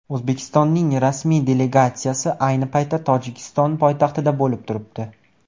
O‘zbekistonning rasmiy delegatsiyasi ayni paytda Tojikiston poytaxtida bo‘lib turibdi.